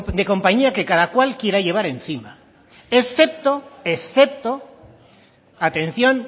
de compañía que cada cual quiera llevar encima excepto excepto atención